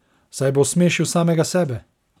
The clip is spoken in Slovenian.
Saj bo osmešil samega sebe!